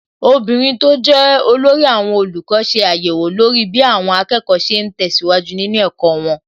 Obìnrin tó jẹ́ olórí àwọn olùkọ́ ṣe àyẹ̀wò lórí bí àwọn akẹ́kọ̀ọ́ ṣe ń tẹ̀síwájú nínú ẹ̀kọ́ wọn.